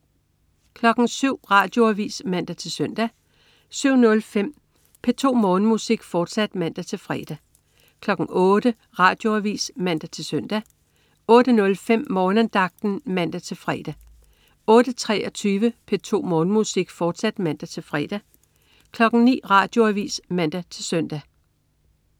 07.00 Radioavis (man-søn) 07.05 P2 Morgenmusik, fortsat (man-fre) 08.00 Radioavis (man-søn) 08.05 Morgenandagten (man-fre) 08.23 P2 Morgenmusik, fortsat (man-fre) 09.00 Radioavis (man-søn)